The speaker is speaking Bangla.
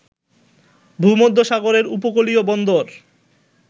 ভূমধ্যসাগরের উপকূলীয় বন্দর